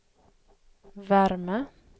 värme